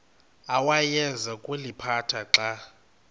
awayeza kuliphatha xa